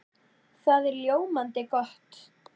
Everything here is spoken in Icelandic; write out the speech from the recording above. Það er ljómandi gott!